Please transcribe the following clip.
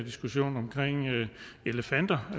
omkring elefanter